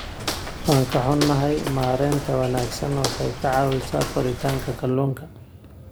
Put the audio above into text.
Waan ka xunahay, maaraynta wanaagsan waxay ka caawisaa koritaanka kalluunka.